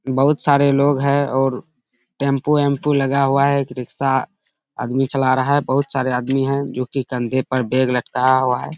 बहुत सारे लोग हैं और टेम्पो-एम्पो लगा हुआ है। एक रिक्शा आदमी चला रहा है। बहुत सारे आदमी हैं जो कि कंधे पर बैग लटकाया हुआ है।